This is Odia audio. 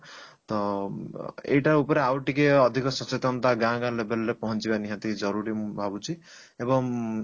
ତ ଅ ଏଇଟା ଉପରେ ଆଉ ଟିକେ ଅଧିକ ସଚେତନତା ଗାଁ ଗାଁ label ରେ ପହଞ୍ଚିବା ନିହାତି ଜରୁରୀ ମୁଁ ଭାବୁଛି ଏବଂ